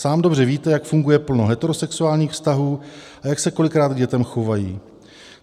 Sám dobře víte, jak funguje plno heterosexuálních vztahů a jak se kolikrát k dětem chovají.